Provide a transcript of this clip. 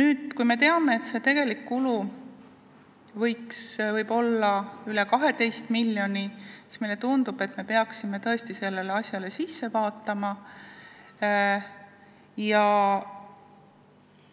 Nüüd, kui me teame, et tegelik kulu võib olla üle 12 miljoni, tundub meile, et me peaksime tõesti seda asja vaatama, ja